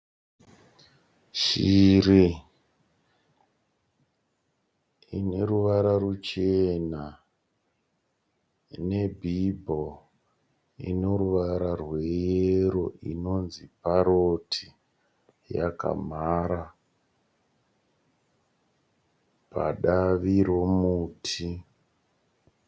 Shiri ine ruvara ruchena ine bhibho ine ruvara rweyero inonzi paroti. Yakamhara padavi romuti.